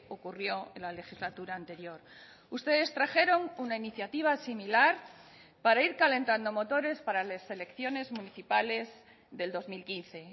ocurrió en la legislatura anterior ustedes trajeron una iniciativa similar para ir calentando motores para las elecciones municipales del dos mil quince